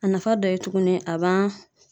A nafa dɔ ye tuguni a b'an